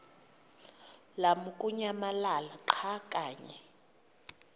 lamukunyamalala xa kanye